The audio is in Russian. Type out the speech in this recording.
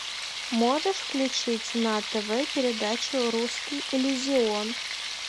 можешь включить на тв передачу русский иллюзион